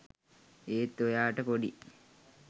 ඒත් ඔයාට පොඩි